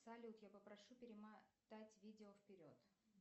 салют я попрошу перемотать видео вперед